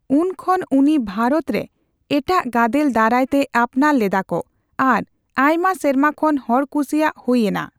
ᱩᱱ ᱠᱷᱚᱱ ᱩᱱᱤ ᱵᱷᱟᱨᱚᱛ ᱨᱮ ᱮᱴᱟᱜ ᱜᱟᱫᱮᱞ ᱫᱟᱨᱟᱭ ᱛᱮ ᱟᱯᱱᱟᱨ ᱞᱮᱫᱟᱠᱚ ᱟᱨ ᱟᱭᱢᱟ ᱥᱮᱨᱢᱟ ᱠᱷᱚᱱ ᱦᱚᱲᱠᱩᱥᱤᱭᱟ ᱦᱩᱭ ᱮᱱᱟ ᱾